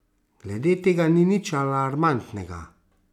Glede tega ni nič alarmantnega.